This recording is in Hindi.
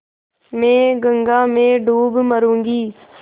मैं गंगा में डूब मरुँगी